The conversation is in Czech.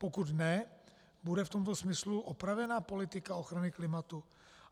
Pokud ne, bude v tomto smyslu opravena politika ochrany klimatu?